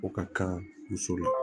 O ka kan muso la